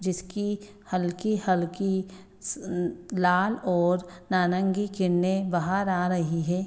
जिसकी हल्की हल्की उम लाल और नारंगी किरणे बाहर आ रही है ।